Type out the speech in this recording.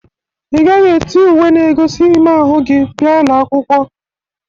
Ị gaghị eti uwe na-egozi ime ahụ gi bia ụlọ akwụkwọ.!